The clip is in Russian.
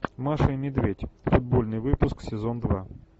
маша и медведь футбольный выпуск сезон два